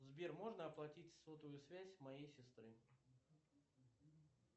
сбер можно оплатить сотовую связь моей сестры